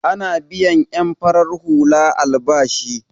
Ana biyan en farar hula albashi.